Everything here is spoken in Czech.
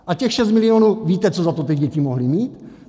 A těch 6 milionů - víte, co za to ty děti mohly mít?